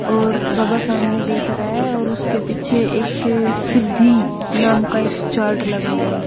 और बाबा सामने देख रहा है और उसके पीछे एक सिद्धि नाम का एक चार्ट लगा हुआ है।